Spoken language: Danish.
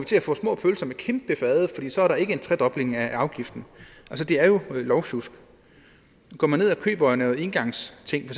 til at få små pølser på kæmpefade for så er der ikke en tredobling af afgiften det er jo lovsjusk går man ned og køber engangsting